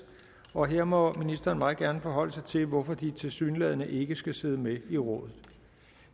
og her må ministeren meget gerne forholde sig til hvorfor de tilsyneladende ikke skal sidde med i rådet